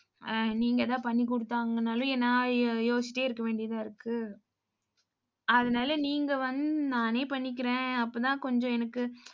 அஹ் நீங்க ஏதாவது பண்ணி கொடுத்தாங்கனாலும், நான் யோசிச்சிட்டே இருக்க வேண்டியதா இருக்கு. அதனாலே நீங்க வந்~ நானே பண்ணிக்கிறேன். அப்போதான் கொஞ்சம் எனக்கு